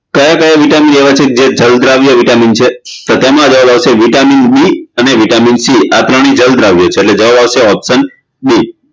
કયા કયા vitamin લેવાથી જે જલદ્રાવ્ય vitamin છે તો તેમ જવાબ આવશે vitamin B અને vitamin C આ ત્રણેય જલદ્રાવ્ય છે એટલે જવાબ આવશે option B